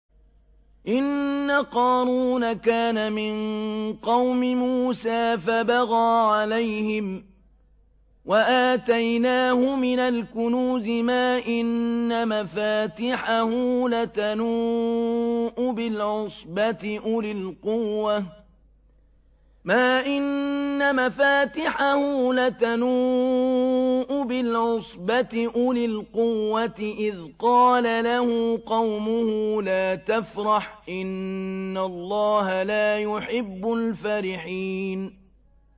۞ إِنَّ قَارُونَ كَانَ مِن قَوْمِ مُوسَىٰ فَبَغَىٰ عَلَيْهِمْ ۖ وَآتَيْنَاهُ مِنَ الْكُنُوزِ مَا إِنَّ مَفَاتِحَهُ لَتَنُوءُ بِالْعُصْبَةِ أُولِي الْقُوَّةِ إِذْ قَالَ لَهُ قَوْمُهُ لَا تَفْرَحْ ۖ إِنَّ اللَّهَ لَا يُحِبُّ الْفَرِحِينَ